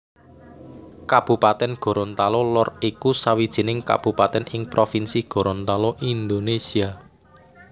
Kabupatèn Gorontalo Lor iku sawijining kabupatèn ing provinsi Gorontalo Indonésia